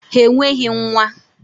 Ha enweghị nwa!